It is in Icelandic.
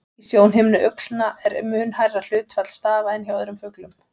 Í sjónhimnu uglna er mun hærra hlutfall stafa en hjá öðrum fuglum.